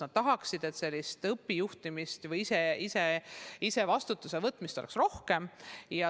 Nad tahaksid, et sellist õpijuhtimist või ise vastutuse võtmist oleks rohkem.